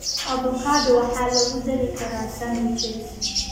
Avocado waxaa lagu dari karaa sandwiches.